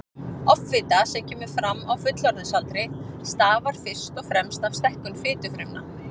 Offita sem kemur fram á fullorðinsaldri stafar fyrst og fremst af stækkun fitufrumna.